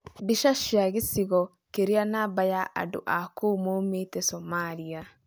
Mbica cia gĩchigo kĩrĩa namba ya andũ a kũu maumĩte Somalia.